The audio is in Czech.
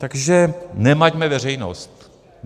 Takže nemaťme veřejnost.